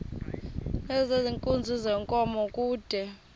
nezenkunzi yenkomo kude